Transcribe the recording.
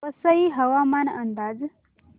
वसई हवामान अंदाज